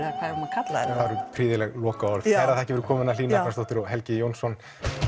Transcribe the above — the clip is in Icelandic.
að kalla þetta prýðileg lokaorð kærar þakkir fyrir komuna Hlín Agnarsdóttir og Helgi Jónsson